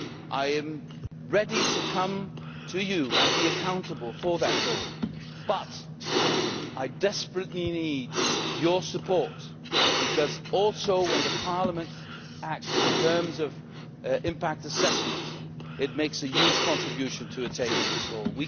I am ready to come to you and be accountable for it, but I desperately need your support because when Parliament acts in terms of impact assessment it makes a huge contribution to attaining that goal.